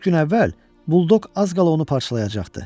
Üç gün əvvəl buldoq az qala onu parçalayacaqdı.